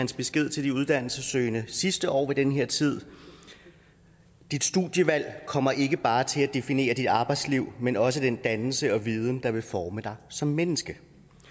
besked til de uddannelsessøgende sidste år ved den her tid dit studievalg kommer ikke bare til at definere dit arbejdsliv men også den dannelse og viden der vil forme dig som menneske